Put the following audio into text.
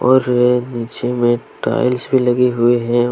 और ये नीचे में टाइल्स भी लगी हुई हैं।